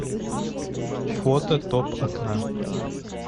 фото топ окна